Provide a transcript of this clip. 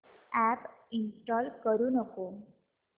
app install करू नको